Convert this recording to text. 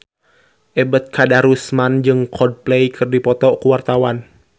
Ebet Kadarusman jeung Coldplay keur dipoto ku wartawan